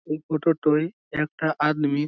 এই ফোটো -টোয় একটা আদমি।